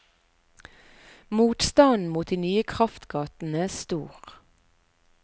Motstanden mot de nye kraftgatene stor.